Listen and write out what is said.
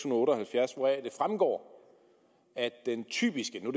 otte og halvfjerds hvoraf det fremgår at den typiske nu